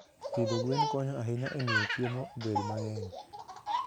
Pidho gwen konyo ahinya e miyo chiemo obed mang'eny.